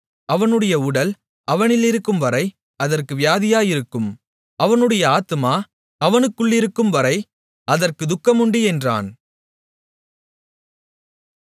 அவனுடைய உடல் அவனிலிருக்கும்வரை அதற்கு வியாதியிருக்கும் அவனுடைய ஆத்துமா அவனுக்குள்ளிருக்கும்வரை அதற்குத் துக்கமுண்டு என்றான்